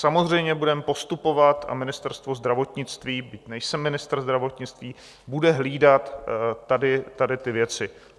Samozřejmě budeme postupovat, a Ministerstvo zdravotnictví, byť nejsem ministr zdravotnictví, bude hlídat tady ty věci.